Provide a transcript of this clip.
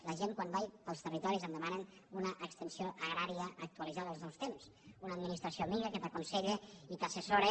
la gent quan vaig pels territoris em demanen una extensió agrària actualitzada als nous temps una administració amiga que t’aconsella i t’assessora